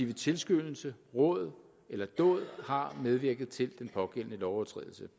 ved tilskyndelse råd eller dåd har medvirket til den pågældende lovovertrædelse